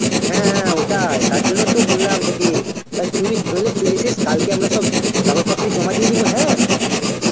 হ্যাঁ হ্যাঁ ওটাই তার জন্যই তো বুললাম তোকে, তা তুই গেলে চলে আসিস কালকে আমরা সব কাগজপত্র জমা দিয়ে দিব হ্যাঁ.